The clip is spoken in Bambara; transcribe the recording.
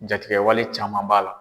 Jatigiwale caman b'a la